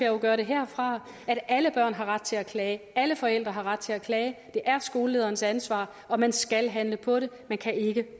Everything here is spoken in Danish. jo gøre det herfra at alle børn har ret til at klage at alle forældre har ret til at klage det er skolelederens ansvar og man skal handle på det man kan ikke